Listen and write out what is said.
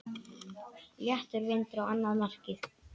Léttur vindur á annað markið.